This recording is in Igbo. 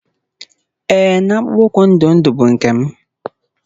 Ee na akpụkpọ ụkwụ ndụ ndụ bụ nke m.